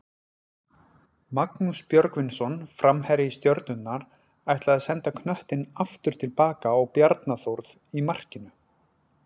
Magnús Björgvinsson framherji Stjörnunnar ætlaði að senda knöttinn aftur tilbaka á Bjarna Þórð í markinu.